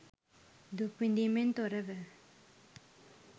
දුක්විඳීමෙන් තොරව,